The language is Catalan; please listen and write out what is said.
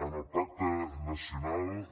en el pacte nacional